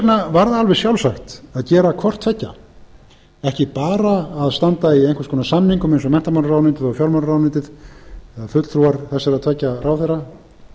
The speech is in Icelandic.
vegna var það alveg sjálfsagt að gert hvort tveggja ekki bara að standa í einhvers konar samningum eins og menntamálaráðuneytið og fjármálaráðuneytið eða fulltrúar þessara tveggja ráðherra